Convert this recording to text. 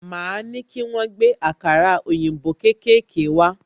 Máa ní kí wọ́n gbé àkàrà òyìnbó kékèké wá